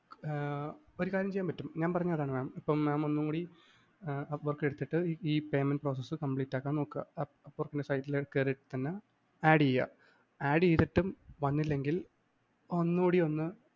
ആഹ് ഒരു കാര്യം ചെയ്യാന്‍ പറ്റും ഞാന്‍ പറഞ്ഞത് അതാണ്‌ mam ഇപ്പം mam ഒന്നുകൂടി apport എടുത്തിട്ട് payment process complete ആക്കാന്‍ നോക്കുക apport ന്റെ site ല്‍ കേറീട്ട് തന്നെ add ചെയ്യുക. add ചെയ്തിട്ടും വന്നില്ലെങ്കില്‍ ഒന്നൂടി ഒന്ന്